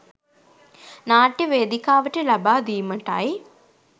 නාට්‍ය වේදිකාවට ලබා දීමටයි.